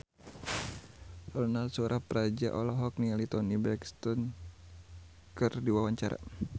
Ronal Surapradja olohok ningali Toni Brexton keur diwawancara